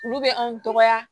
Olu bɛ anw dɔgɔya